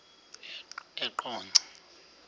eqonco